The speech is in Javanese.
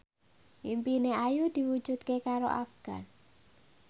impine Ayu diwujudke karo Afgan